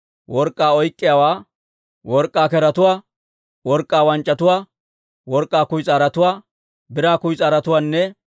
work'k'aa oyk'k'iyaawaa, work'k'aa keretuwaa, work'k'aa wanc'c'atuwaa, work'k'aa kuyis'aarotuwaa, biraa kuyis'aarotuwaanne